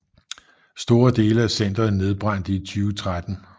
Store dele af centeret nedbrændte i 2013